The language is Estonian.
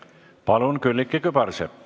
Palun, Külliki Kübarsepp!